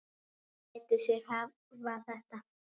Hún lætur sig hafa þetta.